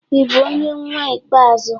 Ị bụ onye nnwa ikpeazụ?